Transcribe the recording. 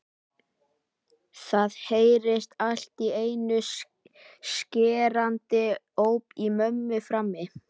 Það heyrðist allt í einu skerandi óp í mömmu frammi.